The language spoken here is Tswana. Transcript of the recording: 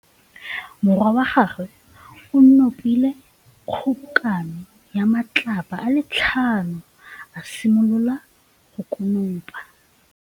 Morwa wa gagwe o nopile kgobokanô ya matlapa a le tlhano, a simolola go konopa.